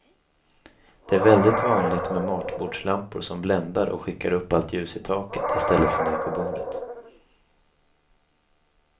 Det är väldigt vanligt med matbordslampor som bländar och som skickar upp allt ljus i taket i stället för ner på bordet.